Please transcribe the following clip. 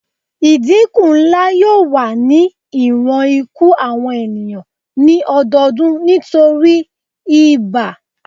Idinku nla yoo wa ni iwọn iku awọn eniyan ni ọdọọdun nitori ibà